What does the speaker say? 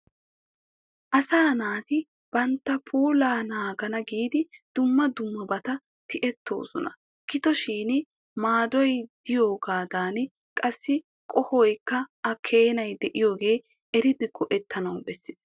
Asaa naati bantta puulaa naagana giidi dumma dummabata tiyettoosona. Gido shin maadoy diyogaadan qassi qohoykka a keenay de'iyooga eridi go'ettanawu besses.